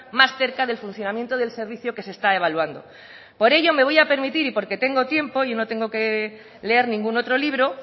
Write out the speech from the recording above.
más cerca del funcionamiento del servicio que se está evaluando por ello me voy a permitir y porque tengo tiempo y no tengo que leer ningún otro libro